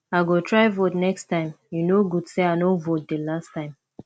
i go try vote next time e no good say i no vote the last time